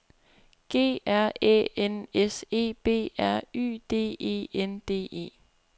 G R Æ N S E B R Y D E N D E